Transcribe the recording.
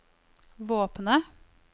våpenet